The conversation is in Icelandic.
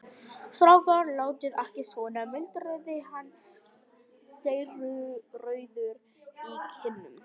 Strákar, látið ekki svona muldraði hann dreyrrauður í kinnum.